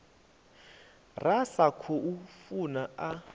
ra sa khou funa a